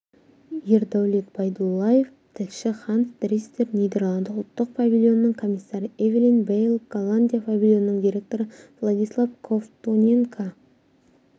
ердәулет байдуллаев тілші ханс дриссер нидерланды ұлттық павильонының комиссары эвелин бэйл голландия павильонының директоры владислав ковтоненко